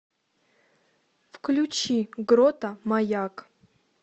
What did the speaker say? включи грота маяк